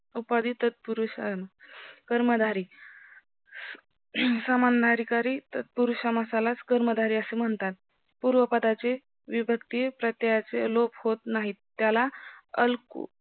उपाधी तत्पुरुष समास कर्मधारी समानधिकारी तत्पुरुष समासाला कर्मधारी असे म्हणतात पूर्व पदाचे विभक्ती प्रतेयाचे लोप होत नाहीत त्याला अलको